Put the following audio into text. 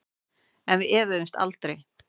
En við efuðumst aldrei.